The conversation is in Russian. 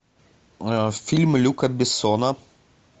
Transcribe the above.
фильм люка бессона